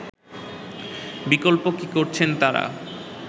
বিকল্প কি করছেন তারা